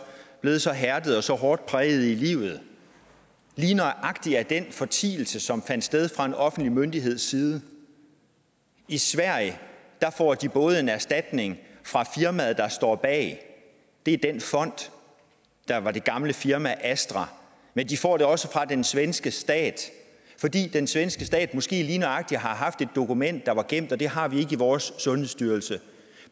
blevet så hærdede og så hårdt prægede i livet lige nøjagtig af den fortielse som fandt sted fra en offentlig myndigheds side i sverige får de både en erstatning fra firmaet der står bag det er den fond der var det gamle firma astra men de får det også fra den svenske stat fordi den svenske stat måske lige nøjagtig har haft et dokument der var gemt og det har vi ikke i vores sundhedsstyrelse